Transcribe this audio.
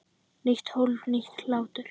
Nýtt hólf- nýr hlátur